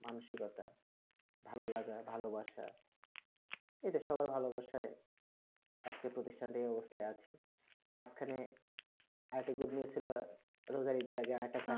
মানসিকতা কথা ভালোলাগা ভালোবাসা এদের সবাই ভালোবাসায় আজকের প্রতিষ্ঠানটি এই অবস্থায় আছে মাঝখানে আর একটা গম্ভীর ছিল রোজা ঈদের আগে